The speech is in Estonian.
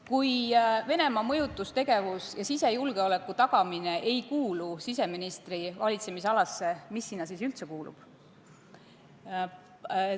Kui Venemaa mõjutustegevus ja sisejulgeoleku tagamine ei kuulu siseministri valitsemisalasse, siis mis sinna üldse kuulub?